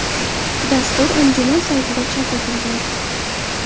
Dastur anjuman saytida chop etilgan .